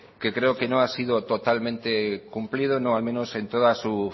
que creo que no ha sido totalmente cumplido no al menos en toda su